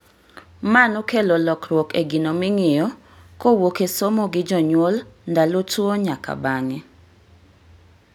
Ma nokelo lokruok e gino ming'iyo kowuok e somo gi jonyuol ndalo tuo nyaka bang'e